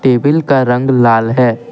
Table का रंग लाल है।